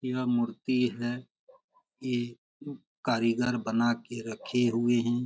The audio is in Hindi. यह मूर्ति है। एक कारीगर बना के रखे हुए है।